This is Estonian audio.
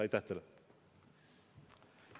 Aitäh teile!